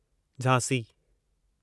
Jhansi